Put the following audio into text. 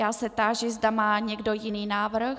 Já se táži, zda má někdo jiný návrh?